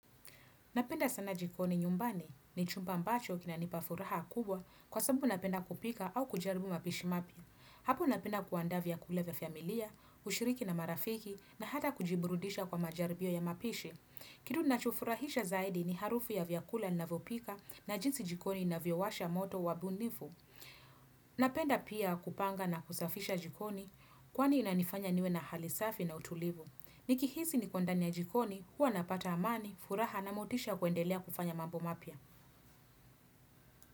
Napenda sana jikoni nyumbani ni chumba mbacho kinanipa furaha kubwa kwa sababu napenda kupika au kujaribu mapishi mapya. Hapo napenda kuandaa vyakula vya familia, ushiriki na marafiki na hata kujiburudisha kwa majaribio ya mapishi. Kitu inachofurahisha zaidi ni harufu ya vyakula ninavypika na jinsi jikoni na viwasha moto wabunifu. Napenda pia kupanga na kusafisha jikoni kwani inanifanya niwe na hali safi na utulivu. Nikihisi niko ndani ya jikoni, huwa napata amani, furaha na motisha kuendelea kufanya mambo mapya.